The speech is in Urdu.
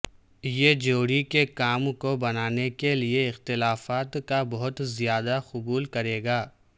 یہ جوڑی کے کام کو بنانے کے لئے اختلافات کا بہت زیادہ قبول کرے گا